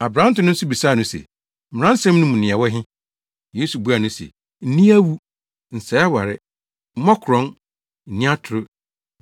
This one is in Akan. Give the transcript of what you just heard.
Aberante no nso bisaa no se, “Mmaransɛm no mu nea ɛwɔ he?” Yesu buaa no se, “Nni awu. Nsɛe aware. Mmɔ korɔn. Nni atoro.